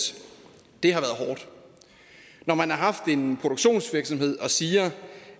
det har været hårdt når man har haft en produktionsvirksomhed og siger